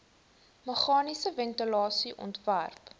meganiese ventilasie ontwerp